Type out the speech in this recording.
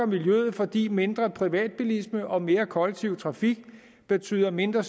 miljøet fordi mindre privatbilisme og mere kollektiv trafik betyder mindre